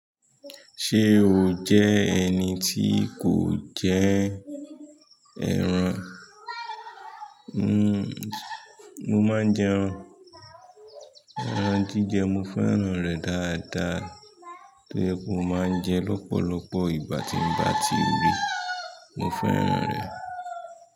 Ṣé o jẹ́ ẹni tí kò jẹ ẹran? Mo máa ń jẹran. Ẹran jíjẹ mo fẹ́ràn rẹ̀ dáadáa. Tó jẹ pe mo máa ń jẹ lọ́pọ̀lọpọ̀ ìgbà tí ń bá ti rí i. Mo fẹ́ran rẹ̀.